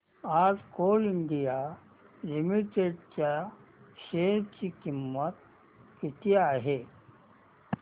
आज Coal India Limited च्या share ची किंमत किती आहे